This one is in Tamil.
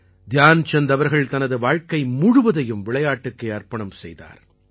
தியான்சந்த் அவர்கள் தனது வாழ்க்கை முழுவதையும் விளையாட்டுக்கே அர்ப்பணம் செய்தார்